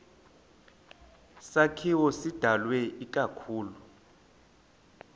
sakhiwo sidalwe ikakhulu